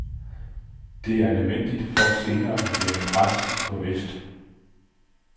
Det er nødvendigt for senere at lægge pres på vest.